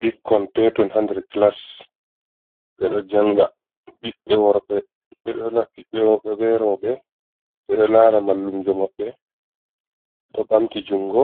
Ɓikkon peton ha nder clas ɓe ɗo janga. Ɓiɓbe worɓe ɓe roɓe ɓe ɗo lara mallumjo maɓɓe ɓe ɗo ɓamti jungo